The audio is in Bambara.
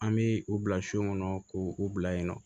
An bɛ u bila so kɔnɔ k'u u bila yen nɔ